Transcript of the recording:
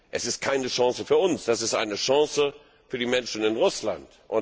Es ist keine Chance für uns, das ist eine Chance für die Menschen in Russland!